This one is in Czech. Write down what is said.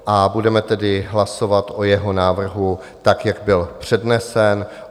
A budeme tedy hlasovat o jeho návrhu tak, jak byl přednesen.